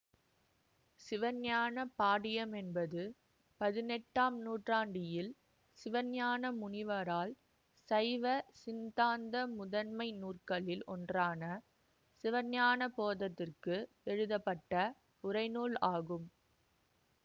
சிவஞான பாடியம் என்பது பதினெட்டும் நூற்றாண்டியில் சிவஞான முனிவரால் சைவ சிந்தாந்த முதன்மை நூற்களில் ஒன்றான சிவஞானபோதத்திற்கு எழுதப்பட்ட உரைநூல் ஆகும்